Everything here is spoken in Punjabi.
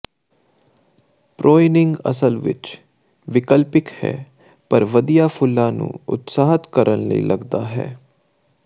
ਪ੍ਰੌਇਨਿੰਗ ਅਸਲ ਵਿੱਚ ਵਿਕਲਪਿਕ ਹੈ ਪਰ ਵਧੀਆ ਫੁੱਲਾਂ ਨੂੰ ਉਤਸ਼ਾਹਤ ਕਰਨ ਲਈ ਲੱਗਦਾ ਹੈ